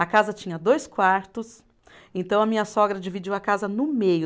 A casa tinha dois quartos, então a minha sogra dividiu a casa no meio.